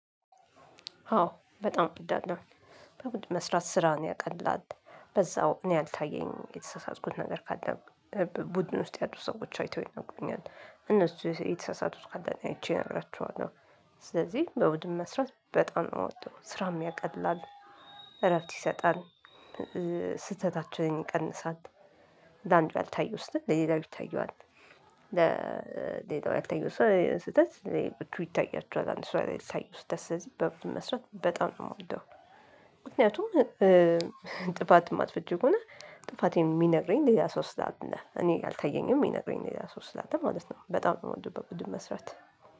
አዎ በጣም እወዳለሁ። በቡድን መስራት ስራን ያቀላል በዛው እኔ ያልታየኝን የተሳሳትኩት ነገር ካለ ቡድን ውስጥ ያሉ ሰዎች አይተው ይነገሩኛል። እነሱ የተሳሳቱት ካለ እኔ አይቼ እነግራቸዋለው። ስለዚህ በቡድን መስራት በጣም ነው የምወድው ስራም ያቀላል እረፍት ይሰጣል። ስህተታችንን ይቀንሳል። ለአንዱ ያልታየው ስህተት ለሌላው ይታየዋል። ስህተት ለሌሎቹ ይታያቸዋል አንድ ሰው ያላየው ስህተት በቡድን በመስራት በጣም ነው የምወደው። ምክንያቱም ጥፋት የማጥፍጄው ከሆነ ጥፋቴን የሚነግረኝ ሌላ ሶስት ላት ነህ እኔ አልታየኝም የሚነግረኝ ሌላ ሶስት ላት ማለት ነው። በጣም በወንድ በወንድ መስራት